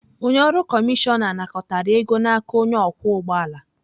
Onye ọrụ kọmishọna nakọtara ego n'aka onye ọkwọ ụgbọ ala.